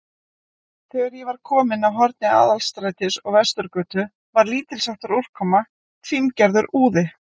Þegar ég var kominn að horni Aðalstrætis og Vesturgötu, var lítilsháttar úrkoma, fíngerður úði.